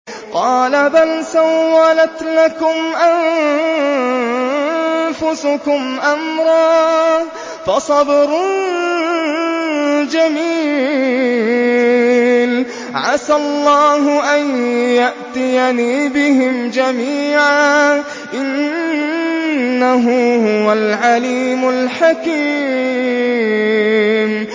قَالَ بَلْ سَوَّلَتْ لَكُمْ أَنفُسُكُمْ أَمْرًا ۖ فَصَبْرٌ جَمِيلٌ ۖ عَسَى اللَّهُ أَن يَأْتِيَنِي بِهِمْ جَمِيعًا ۚ إِنَّهُ هُوَ الْعَلِيمُ الْحَكِيمُ